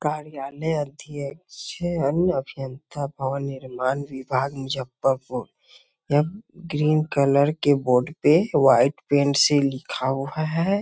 कार्यालय अध्यक्ष है अन्य अभियंता भवन निर्माण विभाग जब तक हो यह ग्रीन कलर के बॉडी पे वाइट पेंट से लिखा हुआ है ।